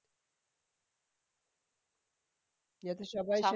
যাতে সবাই সেটা